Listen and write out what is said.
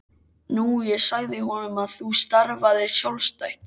Nú ég sagði honum að þú starfaðir sjálfstætt.